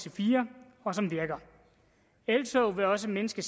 ic4 og som virker eltog vil også mindske